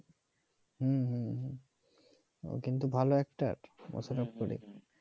ও কিন্তু ভালো একটার মোশারফ করিম